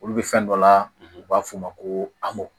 Olu bɛ fɛn dɔ la u b'a f'o ma ko amo